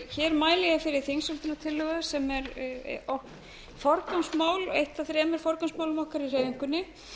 hér mæli ég fyrir þingsályktunartillögu sem er eitt af þremur forgangsmálum okkar í hreyfingunni